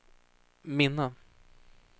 minne